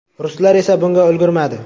Ruslar esa bunga ulgurmadi.